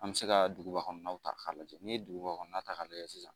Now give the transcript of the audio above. An bɛ se ka duguba kɔnɔnaw ta k'a lajɛ n'i ye duguba kɔnɔna ta k'a lajɛ sisan